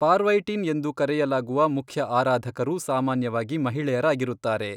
ಪಾರ್ವೈಟಿನ್ ಎಂದು ಕರೆಯಲಾಗುವ ಮುಖ್ಯ ಆರಾಧಕರು ಸಾಮಾನ್ಯವಾಗಿ ಮಹಿಳೆಯರಾಗಿರುತ್ತಾರೆ.